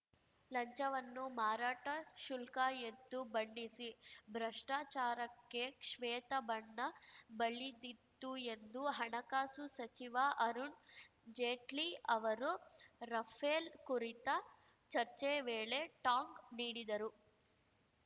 ಲಂಚವನ್ನು ಮಾರಾಟ ಶುಲ್ಕ ಎಂದು ಬಣ್ಣಿಸಿ ಭ್ರಷ್ಟಾಚಾರಕ್ಕೆ ಶ್ವೇತಬಣ್ಣ ಬಳಿದಿತ್ತು ಎಂದು ಹಣಕಾಸು ಸಚಿವ ಅರುಣ್‌ ಜೇಟ್ಲಿ ಅವರು ರಫೇಲ್‌ ಕುರಿತ ಚರ್ಚೆ ವೇಳೆ ಟಾಂಗ್‌ ನೀಡಿದರು